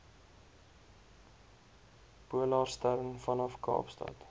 polarstern vanaf kaapstad